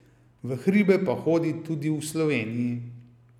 V hribe pa hodi tudi v Sloveniji.